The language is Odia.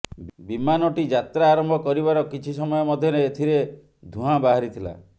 ବିମାନଟି ଯାତ୍ରା ଆରମ୍ଭ କରିବାର କିଛି ସମୟ ମଧ୍ୟରେ ଏଥିରେ ଧୂଆଁ ବାହାରିଥିଲା